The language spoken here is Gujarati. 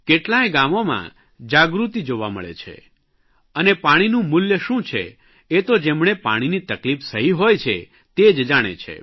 કેટલાંય ગામોમાં જાગૃતિ જોવા મળે છે અને પાણીનું મૂલ્ય શું છે એ તો જેમણે પાણીની તકલીફ સહી હોય છે તે જ જાણે છે